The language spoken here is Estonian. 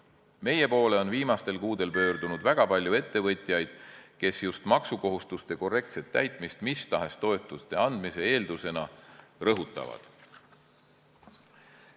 Meie poole on viimastel kuudel pöördunud väga palju ettevõtjaid, kes just maksukohustuste korrektset täitmist mis tahes toetuste andmise eeldusena on rõhutanud.